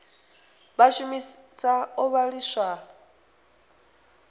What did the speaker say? vha a shumisa o vhiliswa